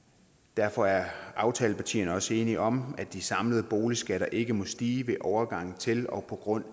derfor er aftalepartierne også enige om at de samlede boligskatter ikke må stige ved overgangen til og på grund